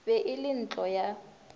be e le ntlo ya